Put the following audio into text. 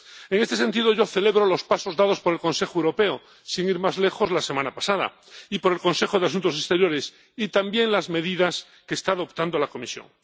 En este sentido yo celebro los pasos dados por el Consejo Europeo, sin ir más lejos la semana pasada, y por el Consejo de Asuntos Exteriores, y también las medidas que está adoptando la Comisión.